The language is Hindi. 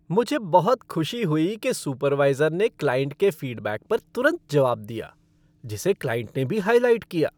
मुझे बहुत खुशी हुई कि सुपरवाइज़र ने क्लाइंट के फ़ीडबैक पर तुरंत जवाब दिया, जिसे क्लाइंट ने भी हाइलाइट किया।